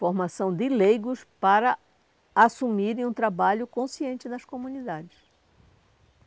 Formação de leigos para assumirem um trabalho consciente das comunidades.